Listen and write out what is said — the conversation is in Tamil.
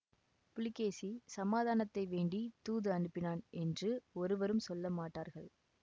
புலிகேசி சமாதானத்தை வேண்டி தூது அனுப்பினான் என்று ஒருவரும் சொல்ல மாட்டார்கள்